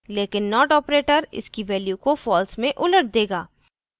लेकिन not operator इसकी value को false में उलट देगा